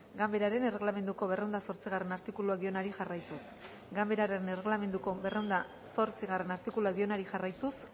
ganbararen erreglamenduko berrehun eta zortzigarrena artikuluak dionari jarraituz